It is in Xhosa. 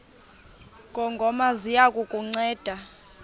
ngongoma ziya kukunceda